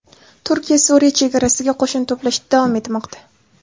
Turkiya Suriya chegarasiga qo‘shin to‘plashda davom etmoqda.